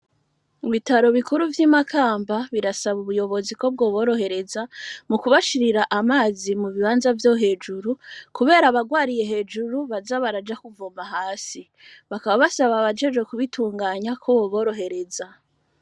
Bitaro bikuru vy'imakamba birasaba ubuyobozi ko bwo borohereza mu kubashirira amazi mu bibanza vyo hejuru, kubera abarwariye hejuru baza baraja kuvoma hasi bakaba basaba bajeje kubitunganya ko boborohereza.